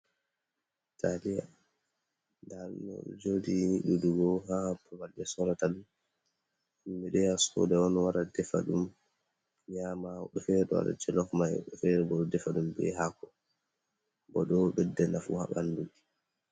Taaliya, ndaa ɗum ɗoo jooɗi ɗuuɗugo haa babal ɓe soorata ɗum. Himɓe ɗo yaha sooda on wara defa ɗum nyaama, woɓɓe feere ɗon waɗa "jolof" woɓɓe feere bo ɗon defa ɗum bee haako. Bo ɗoo ɗo ɓedda nafu ha ɓanndu.